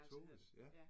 Toves! Ja